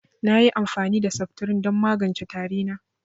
Nayi amfani da seftirin don magance tari na